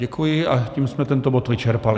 Děkuji a tím jsme tento bod vyčerpali.